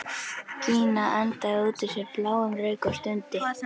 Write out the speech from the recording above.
Gína andaði út úr sér bláum reyk og stundi.